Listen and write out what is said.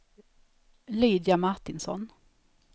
Lydia Martinsson